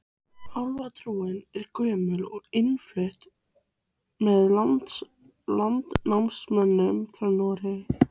Álfatrúin er gömul og innflutt með landnámsmönnum frá Noregi.